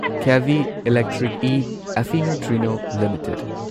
ꯀꯦꯚꯤ electric ꯢ ꯑꯦꯐꯐꯤꯅꯣ ꯇ꯭ꯔꯤꯅꯣ ꯂꯤꯃꯤꯇꯦꯗ